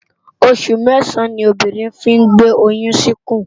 Óṣù mèsán ni óbírìn fi n gbé óyùn si ikún